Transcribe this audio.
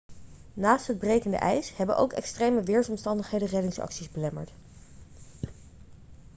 naast het brekende ijs hebben ook extreme weersomstandigheden reddingsacties belemmerd